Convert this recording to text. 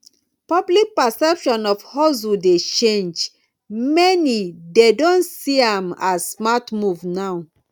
public perception of hustle dey change many dey don see am as smart move now